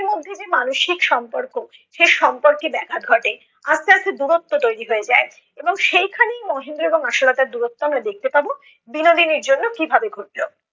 মধ্যে যে মানসিক সম্পর্ক, সে সম্পর্কে ব্যাঘাত ঘটে। আস্তে আস্তে দূরত্ব তৈরি হয়ে যায়। এবং সেই খানেই মহেন্দ্র এবং আশালতার দুরত্ব আমরা দেখতে পাব বিনোদিনীর জন্য কিভাবে ঘটল।